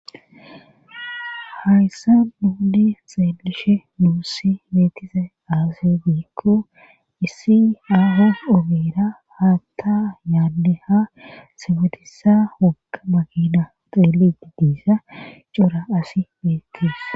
hayssa duudi xeelishe nuussi beetise aase biikku issi ahos obera haatta yaadeha simetisa wokka magina xeeliti diissa cura asi beettees